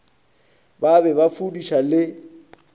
ba be ba fudiša le